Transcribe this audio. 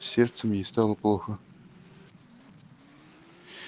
с сердцем ей плохо стало